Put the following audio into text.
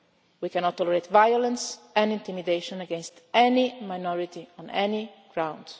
We cannot tolerate violence and intimidation against any minority on any grounds.